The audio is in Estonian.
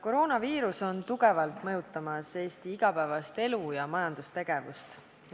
Koroonaviirus on tugevalt mõjutamas Eesti igapäevaelu ja majandustegevust.